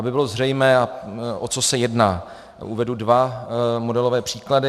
Aby bylo zřejmé, o co se jedná, uvedu dva modelové příklady.